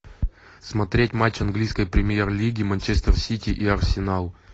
смотреть матч английской премьер лиги манчестер сити и арсенал